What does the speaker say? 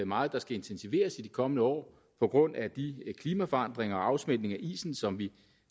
meget der skal intensiveres i de kommende år på grund af de klimaforandringer og den afsmeltning af isen som vi